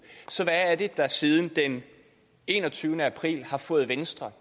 så hvad er det der siden enogtyvende april har fået venstre